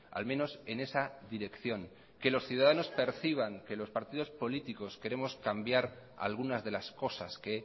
al menos en esa dirección que los ciudadanos perciban que los partidos políticos queremos cambiar algunas de las cosas que